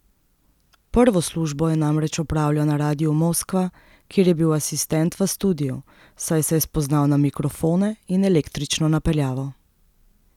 Prvo službo je namreč opravljal na Radiu Moskva, kjer je bil asistent v studiu, saj se je spoznal na mikrofone in električno napeljavo.